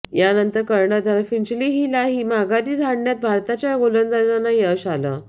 यानंतर कर्णधार फिंचहीलाही माघारी धाडण्यात भारताच्या गोलंदाजांना यश आलं